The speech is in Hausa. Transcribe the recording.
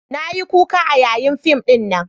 Na yi kuka a yanayin fim dinnan